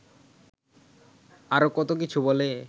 আরও কত কিছু বলে